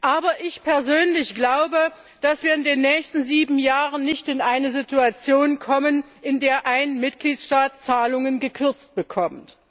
Aber ich persönlich glaube, dass wir in den nächsten sieben Jahren nicht in eine Situation kommen, in der ein Mitgliedstaat Zahlungen gekürzt bekommt.